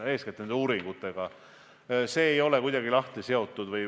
Eeskätt puudutab see uuringuid.